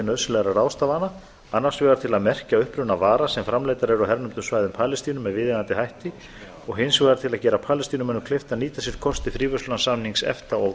nauðsynlegra ráðstafana annars vegar til að merkja uppruna vara sem framleiddar eru á hernumdum svæðum palestínu með viðeigandi hætti og hins vegar til að gera palestínumönnum kleift að nýta sér kosti fríverslunarsamnings efta og